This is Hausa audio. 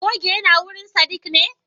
goge yinawurin sadiq ne?